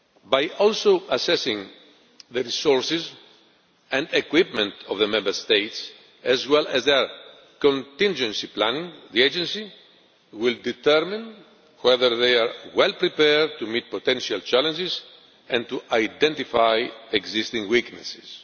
By also assessing the resources and equipment of the Member States, as well as their contingency planning, the Agency will determine whether they are well prepared to meet potential challenges and identify existing weaknesses.